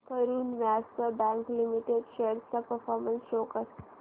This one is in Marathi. Karur Vysya bank limited shares चा परफॉर्मन्स शो कर